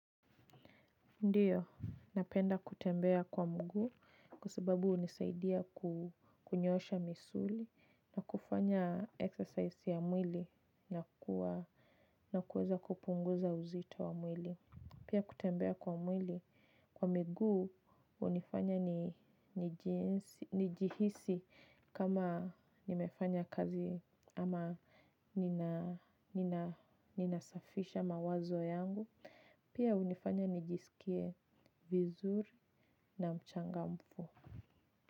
Ndiyo, napenda kutembea kwa mguu kwa sababu hunisaidia kunyoosha misuli na kufanya exercise ya mwili na kuweza kupunguza uzito wa mwili. Pia kutembea kwa mwili, kwa miguu hunifanya nijihisi kama nimefanya kazi ama nina safisha mawazo yangu. Pia hunifanya nijisikie vizuri na mchangamfu.